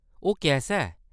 ओह्‌‌ कैसा ऐ ?